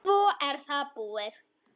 Svo er það búið.